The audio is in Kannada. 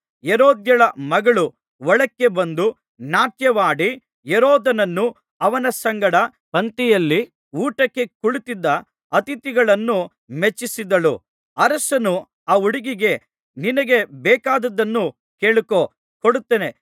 ಹೆರೋದ್ಯಳ ಮಗಳು ಒಳಕ್ಕೆ ಬಂದು ನಾಟ್ಯವಾಡಿ ಹೆರೋದನನ್ನೂ ಅವನ ಸಂಗಡ ಪಂಕ್ತಿಯಲ್ಲಿ ಊಟಕ್ಕೆ ಕುಳಿತಿದ್ದ ಅತಿಥಿಗಳನ್ನೂ ಮೆಚ್ಚಿಸಿದಳು ಅರಸನು ಆ ಹುಡುಗಿಗೆ ನಿನಗೆ ಬೇಕಾದದ್ದನ್ನು ಕೇಳಿಕೋ ಕೊಡುತ್ತೇನೆ